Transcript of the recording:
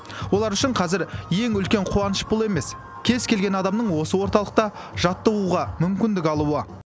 олар үшін қазір ең үлкен қуаныш бұл емес кез келген адамның осы орталықта жаттығуға мүмкіндік алуы